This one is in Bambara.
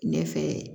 Ɲɛ fɛ